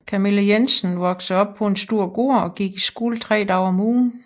Camilla Jensen vokede op på en stor gård og gik i skole tre dage om ugen